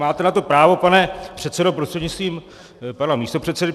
Máte na to právo, pane předsedo prostřednictvím pana místopředsedy.